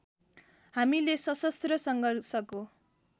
हामीले सशस्त्र सङ्घर्षको